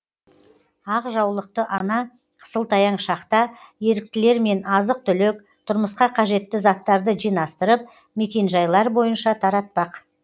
ақ жаулықты ана қысылтаяң шақта еріктілермен азық түлік тұрмысқа қажетті заттарды жинастырып мекенжайлар бойынша таратпақ